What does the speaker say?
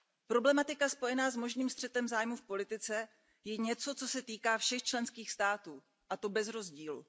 Problematika spojená s možným střetem zájmů v politice je něco, co se týká všech členských států, a to bez rozdílu.